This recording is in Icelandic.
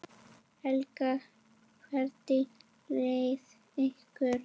Helga: Hvernig leið ykkur?